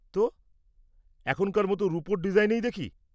তো, এখনকার মতো রুপোর ডিজাইনেই দেখি।